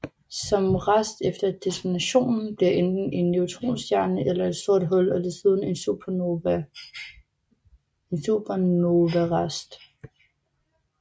Som rest efter detonationen bliver enten en neutronstjerne eller et sort hul og desuden en supernovarest